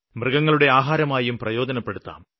മൃഗങ്ങളുടെ ആഹാരമായും പ്രയോജനപ്പെടുത്താം